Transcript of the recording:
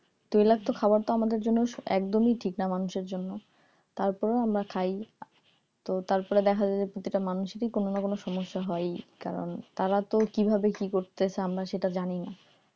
তৈলাক্ত খাবার তো আমাদের জন্য একদমই ঠিক না মানুষের জন্য তারপরেও আমরা খাই তো তারপরে দেখা যায় যে যেটা মানুষেরই কোন না কোন সমস্যা হয়ই কারণ তারা তো কিভাবে কি করতেছে আমরা সেটা জানি না